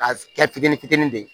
A kɛ fitinin fitinin de ye